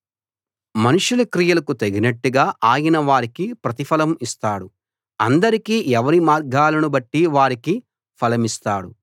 మనుషుల క్రియలకు తగినట్టుగా ఆయన వారికి ప్రతిఫలం ఇస్తాడు అందరికీ ఎవరి మార్గాలను బట్టి వారికి ఫలమిస్తాడు